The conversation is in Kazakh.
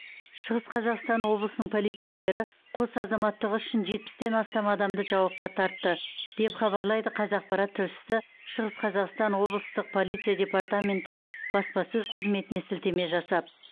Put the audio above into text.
шығыс қазақстан облысының полицейлері қос азаматтығы үшін жетпістен астам адамды жауапқа тартты деп хабарлайды қазақпарат тілшісі шығыс қазақстан облыстық полиция департаменті баспасөз қызметіне сілтеме жасап